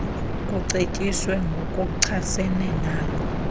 kucetyiswe ngokuchasene nalo